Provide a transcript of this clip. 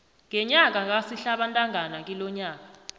ngenyanga kasihlabantangana kilonyaka